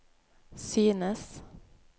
synes